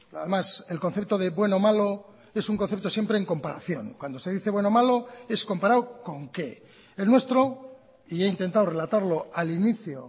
además el concepto de bueno o malo es un concepto siempre en comparación cuando se dice bueno o malo es comparado con qué el nuestro y he intentado relatarlo al inicio